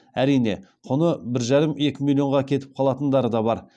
әрине құны бір екі миллионға кетіп қалатындары да бар